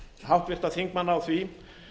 háttvirtra þingmanna á því